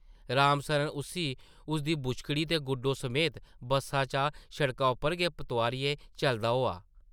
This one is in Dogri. राम सरन उस्सी उसदी बुछकड़ी ते गुड्डो समेत बस्सा चा सड़का उप्पर गै तोआरियै चलदा होआ ।